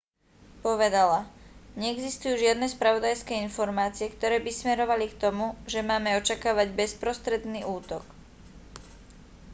povedala neexistujú žiadne spravodajské informácie ktoré by smerovali k tomu že máme očakávať bezprostredný útok